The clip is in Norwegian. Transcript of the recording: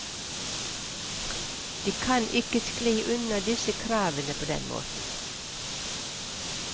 De kan ikke skli unna disse kravene på den måten.